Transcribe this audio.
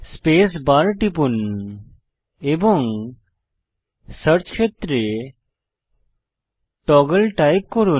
space bar টিপুন এবং search ক্ষেত্রে টগল টাইপ করুন